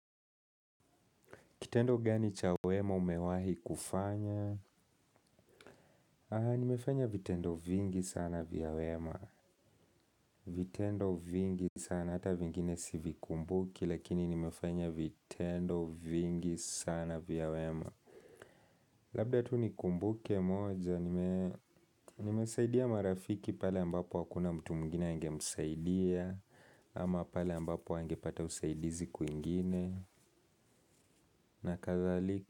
Kitendo gani cha wema umewahi kufanya? Aha, nimefanya vitendo vingi sana vya wema. Vitendo vingi sana hata vingine sivikumbuki, lakini nimefanya vitendo vingi sana vya wema. Labda tu nikumbuke moja, nimesaidia marafiki pale ambapo hakuna mtu mwingine angemsaidia, ama pale ambapo hangepata usaidizi kwingine, na kadhalika.